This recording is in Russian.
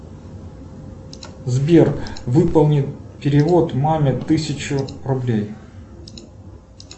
сбер выполни перевод маме тысячу рублей